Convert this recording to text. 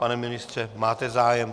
Pane ministře, máte zájem?